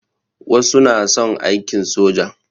Wasu na son aiki soja.